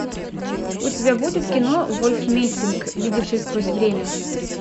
у тебя будет кино вольф мессинг видевший сквозь время